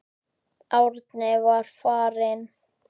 Árni var farinn.